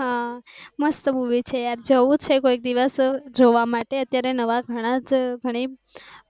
હા મસ્ત મૂવી છે આ જવું છે કોઈ દિવસ જોવા માટે અત્યારે નવા ઘણાં જ ઘણી